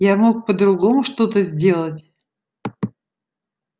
я мог по-другому что-то сделать